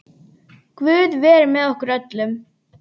Guð veri með okkur öllum.